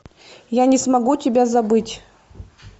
я не смогу тебя забыть